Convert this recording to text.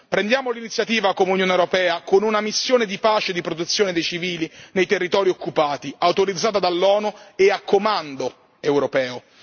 Prendiamo l'iniziativa come Unione europea con una missione di pace e di protezione dei civili nei territori occupati, autorizzata dall'ONU e a comando europeo.